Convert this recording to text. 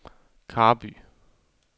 Karby